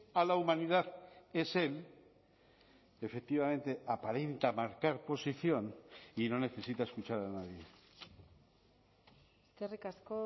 a la humanidad es él efectivamente aparenta marcar posición y no necesita escuchar a nadie eskerrik asko